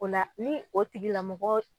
O la ni o tigilamɔgɔ